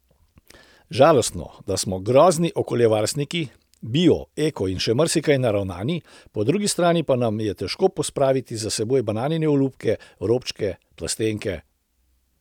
Žalostno, da smo grozni okoljevarstveniki, bio, eko in še marsikaj naravnani, po drugi strani pa nam je težko pospraviti za seboj bananine olupke, robčke, plastenke.